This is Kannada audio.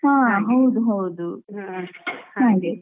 ಹಾ ಹೌದು ಹೌದು.